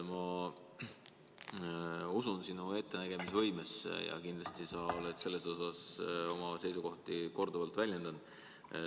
Ma usun sinu ettenägemisvõimesse ja kindlasti oled sa oma seisukohti korduvalt väljendanud.